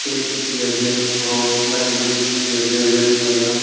aro line gate dekhi ase red colour .